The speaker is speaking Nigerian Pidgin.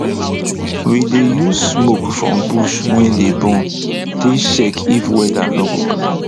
we dey use smoke from bush wey dey burn take check if weather no go clear